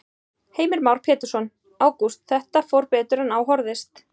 Heimir Már Pétursson: Ágúst, þetta fór betur en á horfðist?